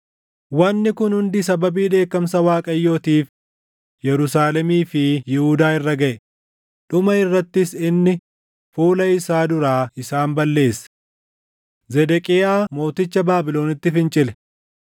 Wanni kun hundi sababii dheekkamsa Waaqayyootiif Yerusaalemii fi Yihuudaa irra gaʼe; dhuma irrattis inni fuula isaa duraa isaan balleesse. Zedeqiyaa mooticha Baabilonitti fincile.